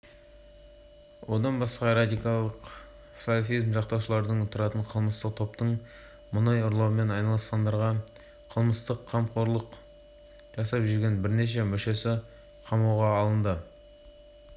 одан басқа радикалдық салафизм жақтаушыларынан тұратын қылмыстық топтың мұнай ұрлаумен айналысатындарға қылмыстық қамқорлық жасап жүрген бірнеше мүшесі қамауға алынды